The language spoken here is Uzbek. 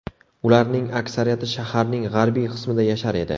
Ularning aksariyati shaharning g‘arbiy qismida yashar edi.